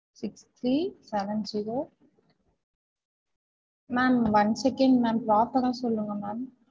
Six three seven zero ma'am one second ma'am proper ஆஹ் சொல்லுங்க ma'am